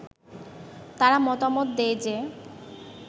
তারা মতামত দেয় যে